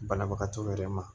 Banabagatɔw yɛrɛ ma